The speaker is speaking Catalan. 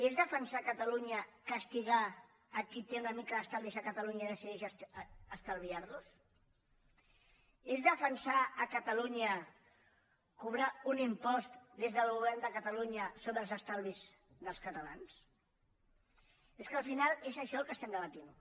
és defensar catalunya castigar qui té una mica d’estalvis a catalunya i decideix estalviar los és defensar catalunya cobrar un impost des del govern de catalunya sobre els estalvis dels catalans és que al final és això el que estem debatent